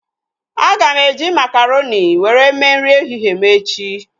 Aga m eji makaronị were mee nri ehihie m echi